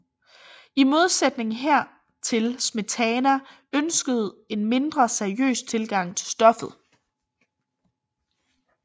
I modsætning hertil Smetana ønskede en mindre seriøs tilgang til stoffet